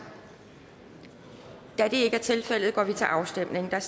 da det ikke er tilfældet går vi til afstemning